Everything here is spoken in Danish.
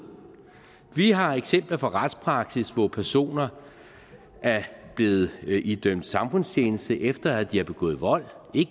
vi har eksempler fra retspraksis hvor personer er blevet idømt samfundstjeneste efter de har begået vold